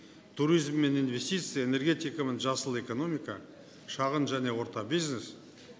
туризм мен инвестиция энергетика мен жасыл экономика шағын және орта бизнес